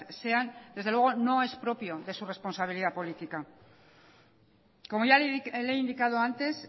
sean desde luego no es propio de su responsabilidad política como ya le he indicado antes